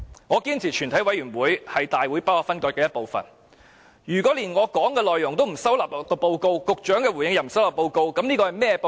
我堅持全委會是大會不可分割的一部分，如果連我的發言內容也不收納於報告，局長的回應也不收納報告，這是甚麼報告？